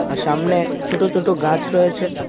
আর সামনে ছোট ছোট গাছ রয়েছে .